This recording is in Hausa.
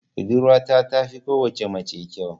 Budurwata tafi kowace mace kyau.